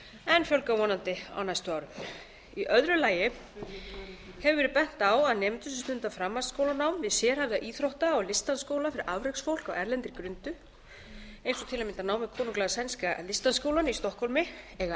en fjölgar vonandi á næstu árum í öðru lagi hefur verið bent á að nemendur sem stunda framhaldsskólanám við sérhæfða íþrótta og listdansskóla fyrir afreksfólk á erlendri grundu eins og til að mynda nám við konunglega sænska listdansskólann í stokkhólmi eiga